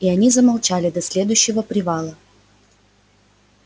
и они замолчали до следующего привала